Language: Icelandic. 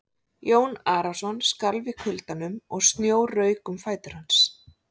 Jón Arason skalf í kuldanum og snjór rauk um fætur hans.